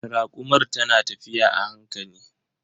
Rakumar ta na tafiya a hankali.